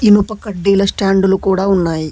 ఇనుప కడ్డీల స్టాండు లు కూడా ఉన్నాయి.